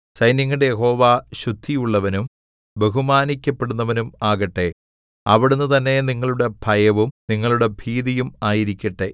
സൈന്യങ്ങളുടെ യഹോവ ശുദ്ധിഉള്ളവനും ബഹുമാനിക്കപ്പെടുന്നവനും ആകട്ടെ അവിടുന്ന് തന്നെ നിങ്ങളുടെ ഭയവും നിങ്ങളുടെ ഭീതിയും ആയിരിക്കട്ടെ